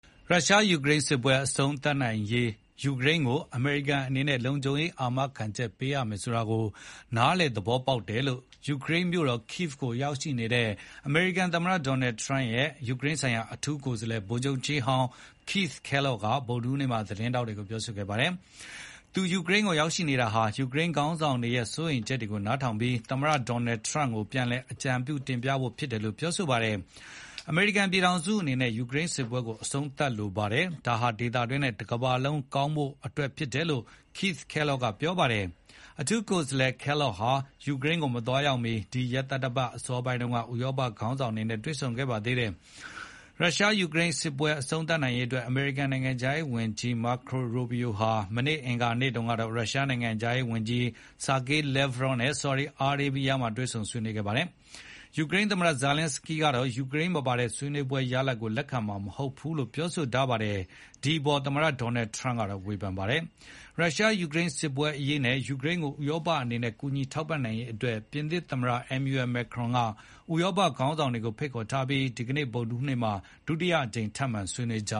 ရုရှား-ယူကရိန်းစစ်ပွဲအဆုံးသတ်နိုင်ရေး ယူကရိန်းကိုအမေရိကန်အနေနဲ့ လုံခြုံရေးအာမခံချက် ပေးရမယ်ဆိုတာကိုနား လည်သဘောပေါက်တယ်လို့ ယူကရိန်းမြို့တော် Kyiv ကိုရောက်ရှိနေတဲ့ အမေရိကန်သမ္မတရဲ့ယူကရိန်းဆိုင်ရာ အထူးကိုယ်စားလှယ် ဗိုလ်ချုပ်ကြီးဟောင်း Keith Kellogg က ဗုဒ္ဓဟူးနေ့သတင်းစာရှင်းလင်းပွဲမှာပြောဆိုခဲ့ပါတယ်။ ယူကရိန်းကို သူရောက်နေတာဟာ ယူကရိန်းခေါင်းဆောင်တွေရဲ့စိုးရိမ်ချက်တွေကို နားထောင်ပြီး သမ္မတဒေါ်နယ်ထရမ့်ကို ပြန်လည်အကြံပြုတင်ပြဖို့ဖြစ်တယ်လို့ သတင်းထောက်တွေကို ပြောခဲ့ ပါတယ်။ အမေရိကန်ပြည်ထောင်စုအနေနဲ့ ယူကရိန်းစစ်ပွဲကိုအဆုံးသတ်လိုပါတယ်။ ဒါဟာ ဒေသတွင်းနဲ့ တကမ္ဘာလုံးကောင်းဖို့ အတွက်ဖြစ်တယ်လို့ Keith Kellogg ကပြောခဲ့ပါတယ်။ အထူးကိုယ်စားလှယ် Kellogg ဟာယူကရိန်းကိုမသွားရောက်မီ ဒီရက်သတ္တပတ်အစောပိုင်းက ဥရောပခေါင်းဆောင် တွေနဲ့ဆုံခဲ့ပါတယ်။ ရုရှား-ယူကရိန်းစစ်အဆုံးသတ်နိုင်ရေးအတွက်အမေရိကန်နိုင်ငံခြားရေးဝန်ကြီး Marco Rubio ဟာ မနေ့အင်္ဂါနေ့တုန်းက ရုရှားနိုင်ငံခြားရေးဝန်ကြီး Sergey Lavrov နဲ့ ဆော်ဒီအာရေးဗီးယားနိုင်ငံမှာ တွေ့ဆုံခဲ့ပါတယ်။ ယူကရိန်းသမ္မတဇာလင်းစကီးကတော့ ယူကရိန်းမပါဝင်တဲ့ဆွေးနွေးပွဲရလဒ်တွေကို လက်ခံမှာ မဟုတ်ဘူး လို့ ပြောပါတယ်။ ဒီအပေါ်မှာ သမ္မတဒေါ်နယ်ထရန့်ကဝေဘန်ပါတယ်။ ရုရှား-ယူကရိန်းစစ်ပွဲအရေးနဲ့ ယူကရိန်းကိုဥရောပအနေနဲ့ကူညီထောက်ပံ့နိုင်ရေးအတွက် ပြင်သစ်သမ္မတ Emmanuel Macron က ဥရောပခေါင်းဆောင်တွေကိုဖိတ်ခေါ်ထားပြီး ဒီကနေ့ ဗုဒ္ဓဟူးနေ့မှာ ဒုတိယအကြိမ်ထပ်မံဆွေးနွေးကြ